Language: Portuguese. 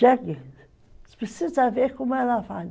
Jegue, você precisa ver como ela vale.